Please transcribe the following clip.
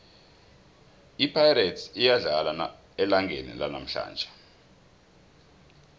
ipirates iyadlala elangeni lanamhlanje